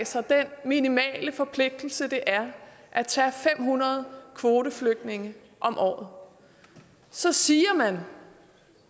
sig den minimale forpligtelse det er at tage fem hundrede kvoteflygtninge om året så siger man